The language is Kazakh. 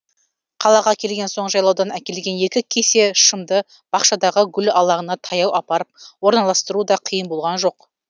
қалаға келген соң жайлаудан әкелген екі кесе шымды бақшадағы гүл алаңына таяу апарып орналастыру да қиын болған жоқ